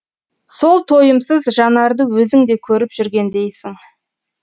сол тойымсыз жанарды өзің де көріп жүргендейсің